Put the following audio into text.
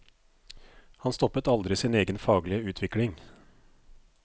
Han stoppet aldri sin egen faglige utvikling.